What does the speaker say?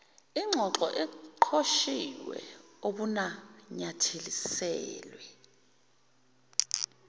ingxoxo eqoshiwe obunanyathiselwe